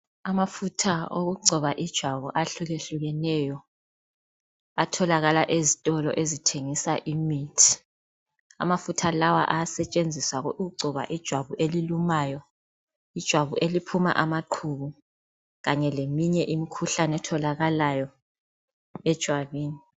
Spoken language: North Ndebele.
Amafutha okugcoba ijwabu ahlukehlukeneyo . Atholakala ezitolo ezithengisa imithi ,amafutha lawa ayisetshenziswa ukugcoba ijwabu elilumayo .Ijwabu eliphuma amaqubu kanye leminye imikhuhlane etholakalayo ejwabini.